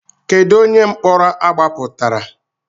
Kedụ onye mkpọrọ agbapụtara.